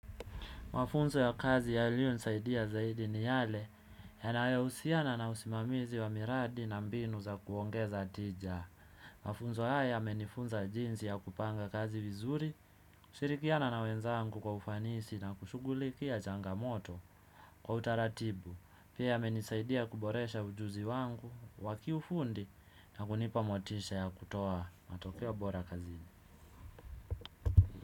Mafunzo ya kazi yalionisaidia zaidi ni yale, yana husiana na usimamizi wa miradi na mbinu za kuongeza tija. Mafunzo haya yamenifunza jinsi ya kupanga kazi vizuri, kushirikiana na wenzangu kwa ufanisi na kushughulikia changamoto kwa utaratibu. Pia yamenisaidia kuboresha ujuzi wangu wa kiufundi na kunipa motisha ya kutoa matokeo bora kazini.